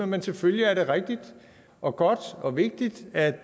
men selvfølgelig er det rigtigt og godt og vigtigt at